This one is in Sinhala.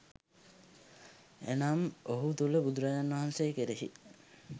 එනම්, ඔහු තුළ බුදුරජාණන් වහන්සේ කෙරෙහි